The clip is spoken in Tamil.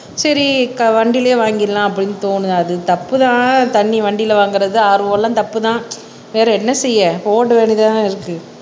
சரி வண்டியிலேயே வாங்கிடலாம் அப்படின்னு தோணுது அது தப்புதான் வண்டியில் வாங்குறது RO தப்பு தான் வேற என்ன செய்ய ஓட்ட வேண்டியது தானே இருக்கு